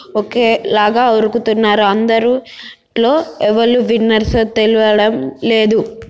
ఒకే లాగా ఉరుకుతున్నారు. అందరు అందరిలో ఎవరు విన్నెర్సొ తెలియడం లేదు.